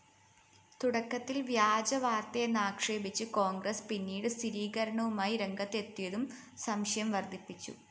തുടക്കത്തില്‍ വ്യാജവാര്‍ത്തയെന്നാക്ഷേപിച്ച കോണ്‍ഗ്രസ് പിന്നീട് സ്ഥിരീകരണവുമായി രംഗത്തെത്തിയതും സംശയം വര്‍ദ്ധിപ്പിച്ചു